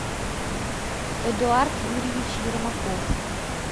эдуард юрьевич ермаков